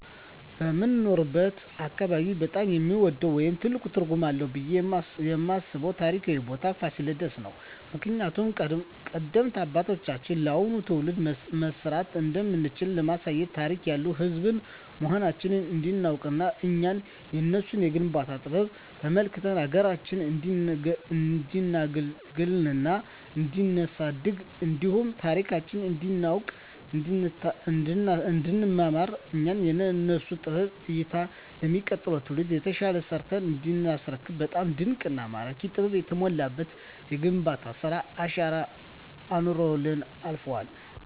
በምኖርበት አካባቢ በጣም የምወደው ወይም ትልቅ ትርጉም አለዉ ብየ የማስበው ታሪካዊ ቦታ ፋሲለደስ ነው። ምክንያቱም ቀደምት አባቶቻችን ለአሁኑ ትውልድ መስራት እንደምንችል ለማሳየት ታሪክ ያለን ህዝቦች መሆናችንን እንዲናውቅና እኛም የነሱን የግንባታ ጥበብ ተመልክተን ሀገራችንን እንዲናገለግልና እንዲናሳድግ እንዲሁም ታሪካችንን እንዲናውቅ እንዲንመራመር እኛም የነሱን ጥበብ አይተን ለሚቀጥለው ትውልድ የተሻለ ሰርተን እንዲናስረክብ በጣም ድንቅና ማራኪ ጥበብ የተሞላበት የግንባታ ስራ አሻራ አኑረውልን አልፈዋል።